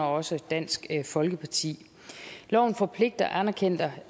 også dansk folkeparti loven forpligter anerkendte